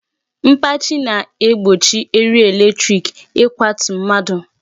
Mkpachi na-egbochi eriri electric ịkwatu mmadụ.